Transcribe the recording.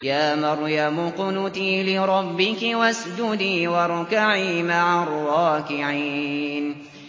يَا مَرْيَمُ اقْنُتِي لِرَبِّكِ وَاسْجُدِي وَارْكَعِي مَعَ الرَّاكِعِينَ